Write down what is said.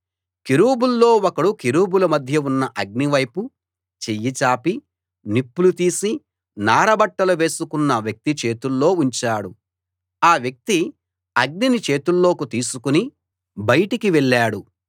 కెరూబుల్లో ఒకడు కెరూబుల మధ్య ఉన్న అగ్నివైపు చెయ్యి చాపి నిప్పులు తీసి నార బట్టలు వేసుకున్న వ్యక్తి చేతుల్లో ఉంచాడు ఆ వ్యక్తి అగ్నిని చేతుల్లోకి తీసుకుని బయటకి వెళ్ళాడు